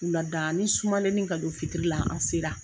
Wuladaanin sumanenin ka don fitiri la an sera.